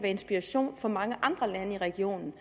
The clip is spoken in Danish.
inspiration for mange andre lande i regionen